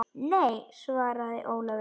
Nei, svaraði Ólafur.